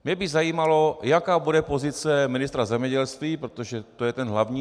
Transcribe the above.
Mě by zajímalo, jaká bude pozice ministra zemědělství, protože to je ten hlavní.